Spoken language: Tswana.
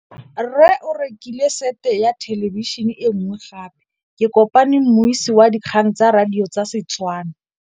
Rre o rekile sete ya thêlêbišênê e nngwe gape. Ke kopane mmuisi w dikgang tsa radio tsa Setswana.